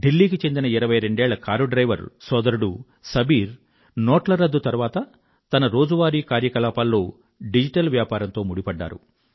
ఢిల్లీ కి చెండిన ఇరవై రెండేళ్ళ కారు డ్రైవరు సోదరుడు సబీర్ నోట్ల చట్టబద్ధత రద్దు తరువాత తన రోజువారీ కార్యకలాపాల్లో డిజిటల్ వ్యాపారంతో ముడిపడ్డారు